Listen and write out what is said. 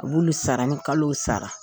A b'olu sara ni kalo sara